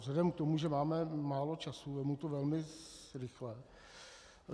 Vzhledem k tomu, že máme málo času, vezmu to velmi rychle.